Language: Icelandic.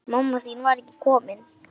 Mamma þín var ekki komin.